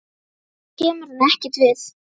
Hann kemur henni ekkert við.